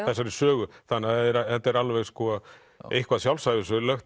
þessari sögu þannig að þetta er alveg eitthvað